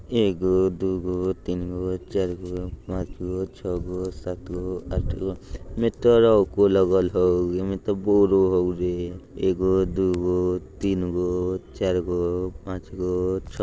एगो दुगो तिनगो चारगो पाँचगो छगों सातगो आठगो मीटर गो लगल हउ। अइमें त बोरो हउ रे एगो दुगो तिनगो चारगो पाँचगो छ--